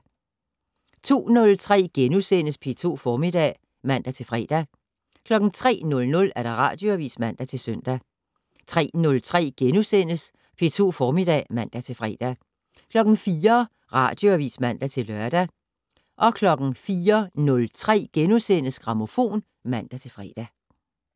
02:03: P2 Formiddag *(man-fre) 03:00: Radioavis (man-søn) 03:03: P2 Formiddag *(man-fre) 04:00: Radioavis (man-lør) 04:03: Grammofon *(man-fre)